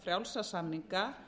frjálsa samninga